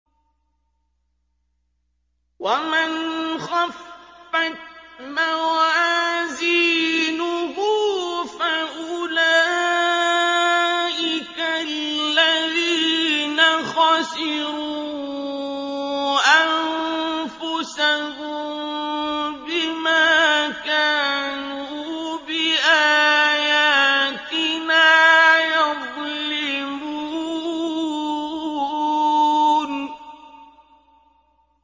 وَمَنْ خَفَّتْ مَوَازِينُهُ فَأُولَٰئِكَ الَّذِينَ خَسِرُوا أَنفُسَهُم بِمَا كَانُوا بِآيَاتِنَا يَظْلِمُونَ